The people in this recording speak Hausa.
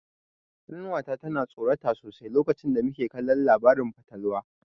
Ƙanwa ta ta tsorata sosai lokacin da muke kallon labarin fatalwa.